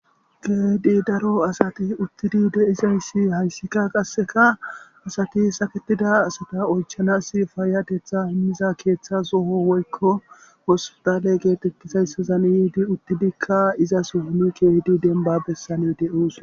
Keehidi daro asati hayssika qasse haraasata oychanaas payyatetha immiza keetha soho woykko hosputaale geetettizayssazan yiidi uttidikka demba bessan de7oosona.